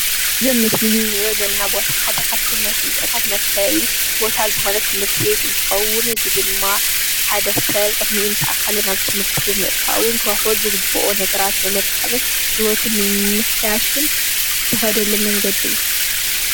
እዙ ኣብ ምስሊ እንሪኦ ዘለና ቦታ ሓደ ኻፍቶም ናይ ፍልጠታት መርከቢ ቦታ ዝኾነ ትምህርቲቤት እንትኸውን እዚ ድማ ሓደ ሰብ ዕድሚኡ ምስ ኣከለ ናብ ትምህርቲ ብምእታውን ኽረኽቦ ዝግብኦ ነገራት ብምርካብን ሂወቱ ንምምሕያሽእ ዝከዶ መንገዲ እዩ